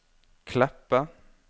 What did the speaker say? Kleppe